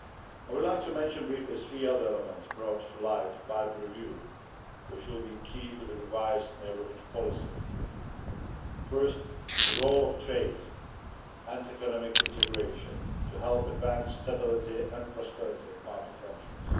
I would like to mention briefly three other elements brought to light by the review, which will be key to the revised Neighbourhood Policy first, the role of trade and economic integration to help advance stability and prosperity in partner countries.